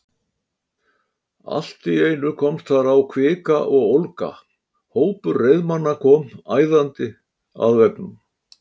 Allt í einu komst þar á kvika og ólga: hópur reiðmanna kom æðandi að veggnum.